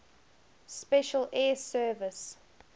special air service